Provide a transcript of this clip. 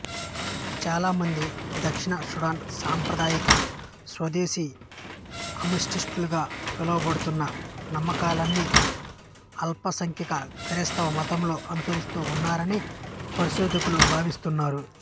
చాలామంది దక్షిణ సూడాన్ సాంప్రదాయిక స్వదేశీ అమాస్టీస్టుగా పిలువబడుతున్న నమ్మకాలని అల్పసంఖ్యాక క్రైస్తవ మతంతో అనుసరిస్తూ ఉన్నారని పరిశోధకులు భావిస్తున్నారు